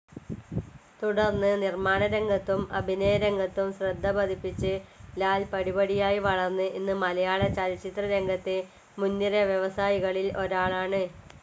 തുടർന്ന് നിർമ്മാണരംഗത്തും അഭിനയരംഗത്തും ശ്രദ്ധപതിപ്പിച്ച് ലാൽ പടിപടിയായി വളർന്ന് ഇന്ന് മലയാളചലച്ചിത്രരംഗത്തെ മുൻനിര വ്യവസായികളിൽ ഒരാളാണ്.